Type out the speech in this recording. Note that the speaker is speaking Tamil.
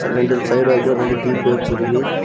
ரெண்டு சைடு வாக்குல ரெண்டு டியுப் வச்சுருக்கு.